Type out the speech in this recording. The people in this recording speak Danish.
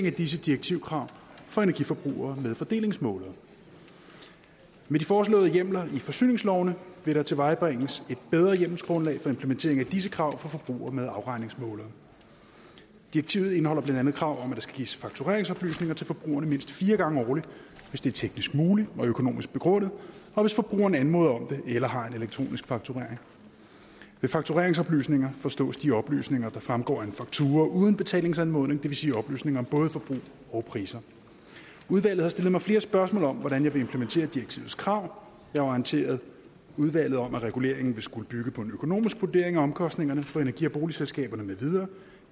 af disse direktivkrav for energiforbrugere med fordelingsmålere med de foreslåede hjemler i forsyningslovene vil der tilvejebringes et bedre hjemmelsgrundlag for implementeringen af disse krav for forbrugere med afregningsmålere direktivet indeholder blandt andet krav om at der skal gives faktureringsoplysninger til forbrugerne mindst fire gange årligt hvis det er teknisk muligt og økonomisk begrundet og hvis forbrugerne anmoder om det eller har en elektronisk fakturering ved faktureringsoplysninger forstås de oplysninger der fremgår af en faktura uden betalingsanmodning det vil sige oplysninger om både forbrug og priser udvalget har stillet mig flere spørgsmål om hvordan jeg vil implementere direktivets krav jeg har orienteret udvalget om at reguleringen vil skulle bygge på en økonomisk vurdering af omkostningerne for energi og boligselskaberne med videre